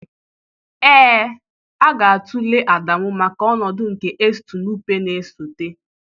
Ee, a ga-atụle Adamu maka ọnọdụ nke Estu Nụpe na-esote